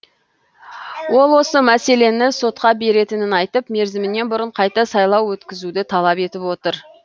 ол осы мәселені сотқа беретінін айтып мерзімінен бұрын қайта сайлау өткізуді талап етіп отыр